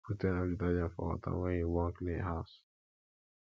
put enough detergent for water wen you wan clean house